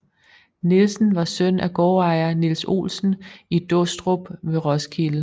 Nielsen var søn af gårdejer Niels Olsen i Dåstrup ved Roskilde